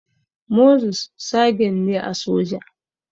Moses sagen ne a soja